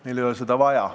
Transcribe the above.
Meil ei ole seda vaja.